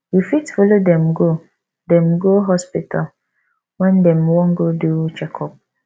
you fit follow dem go dem go hospital when dem wan go do checkup